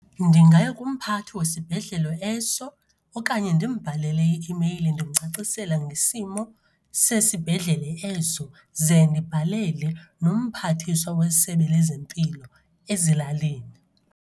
Ndingaya kumphathi wesibhedlele eso okanye ndimbhalele i-imeyili ndimcacisela ngesimo sesibhedlele eso, ze ndibhalele nomphathiswa kwiSebe lezeMpilo ezilalini.